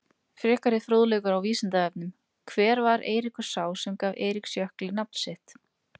Frekari fróðleikur á Vísindavefnum: Hver var Eiríkur sá sem gaf Eiríksjökli nafnið sitt?